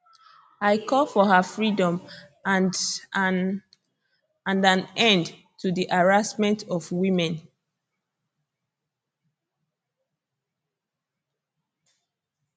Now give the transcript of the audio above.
i call for her freedom and an and an end to di harassment of women